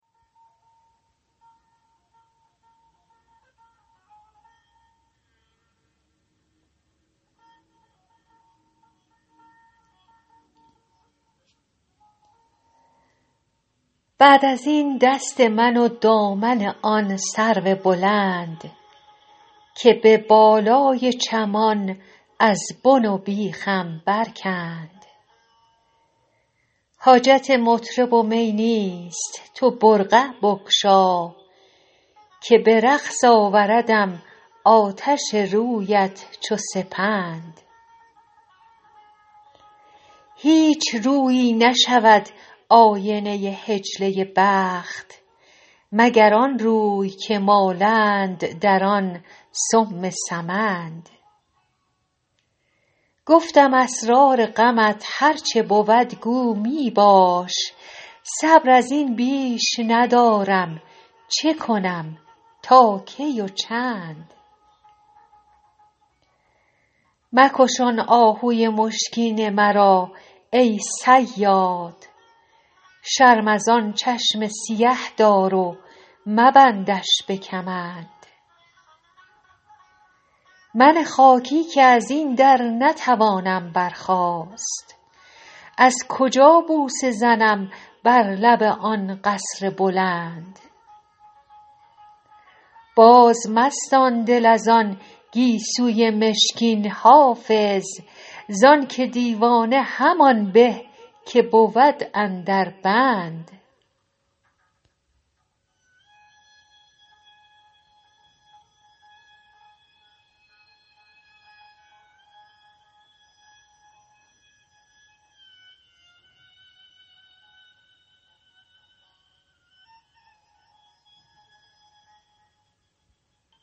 بعد از این دست من و دامن آن سرو بلند که به بالای چمان از بن و بیخم برکند حاجت مطرب و می نیست تو برقع بگشا که به رقص آوردم آتش رویت چو سپند هیچ رویی نشود آینه حجله بخت مگر آن روی که مالند در آن سم سمند گفتم اسرار غمت هر چه بود گو می باش صبر از این بیش ندارم چه کنم تا کی و چند مکش آن آهوی مشکین مرا ای صیاد شرم از آن چشم سیه دار و مبندش به کمند من خاکی که از این در نتوانم برخاست از کجا بوسه زنم بر لب آن قصر بلند بازمستان دل از آن گیسوی مشکین حافظ زان که دیوانه همان به که بود اندر بند